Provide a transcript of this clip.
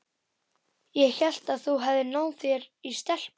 Ég hélt að þú hefðir náð þér í stelpu.